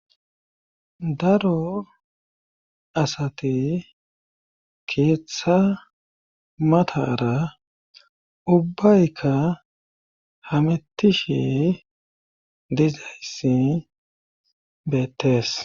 Daro asat keeththa matara ubbaykka hametishe dizayssi beettees